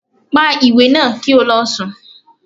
Pa iwe naa ki o lọ sùn!